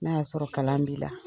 N'a y'a sɔrɔ kalan b'i la